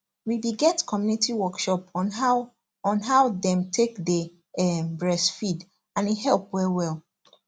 we be get community workshop on how on how them take day um breastfeed and e help well well